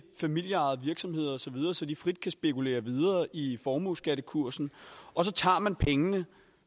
familieejede virksomheder osv så de frit kan spekulere videre i formueskattekursen og så tager man pengene